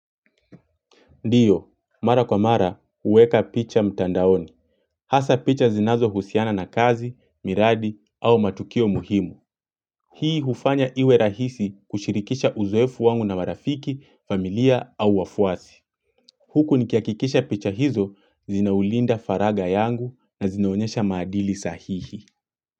Ndiyo, mara kwa mara, huweka picha mtandaoni. Hasa picha zinazo husiana na kazi, miradi au matukio muhimu. Hii hufanya iwe rahisi kushirikisha uzoefu wangu na marafiki, familia au wafuasi. Huku nikia kikisha picha hizo, zinaulinda faraga yangu na zinaonyesha maadili sahihi.